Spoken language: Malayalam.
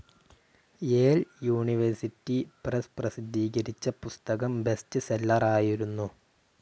യേൽ യൂണിവേഴ്സിറ്റി പ്രസ്‌ പ്രസിദ്ധീകരിച്ച പുസ്തകം ബെസ്റ്റ് സെല്ലറായിരുന്നു.